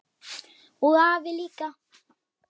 Og afi líka!